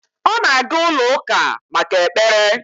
Ọ na-aga ụlọ-Ụka maka ekpere